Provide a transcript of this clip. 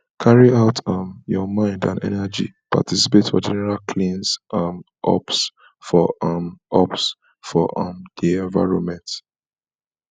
carry out um your mind and energy participate for general cleans um ups for um ups for um di environment